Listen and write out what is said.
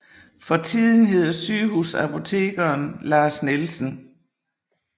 For tiden hedder sygehusapotekeren Lars Nielsen